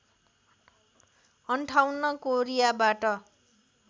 ५८ कोरियाबाट